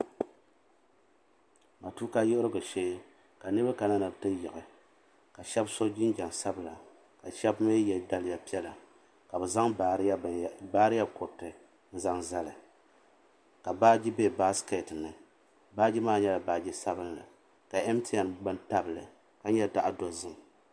Matuuka yiɣirigu shee ka niriba ka niriba kana ni bɛ ti yiɣi ka Sheba so jinjiɛm sabla ka Sheba mee ye daliya piɛlla ka bɛ zaŋ bairiya kuriti n zali ka baaji be baasiketi ni baaji maa nyɛla baaji sabinli ka mtn bini tabili ka nyɛ zaɣa dozim.